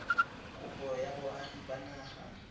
kopo ya boagi ba naga